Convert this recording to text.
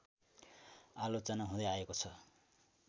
आलोचना हुँदै आएको छ